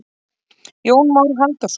Jón Már Halldórsson.